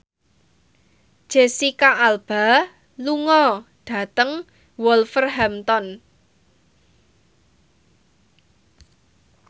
Jesicca Alba lunga dhateng Wolverhampton